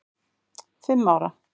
fimm ára.